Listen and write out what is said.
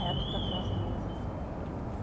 Era tudo aquelas mesa, assim, comprida.